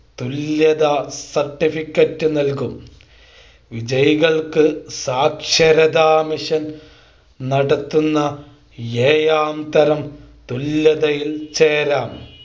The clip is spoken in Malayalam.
തുല്യതാ Certificate നൽകും വിജയികൾക്ക് സാക്ഷരതാ മിഷൻ നടത്തുന്ന ഏഴാം തരം തുല്യതയിൽ ചേരാം